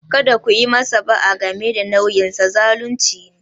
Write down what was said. Kada ku yi masa ba'a game da nauyinsa - zalunci ne.